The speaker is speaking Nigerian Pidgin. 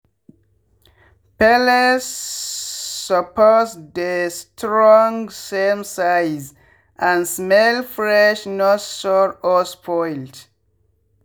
pellets supppse dey strongsame size and smell fresh-not sour or spoilt.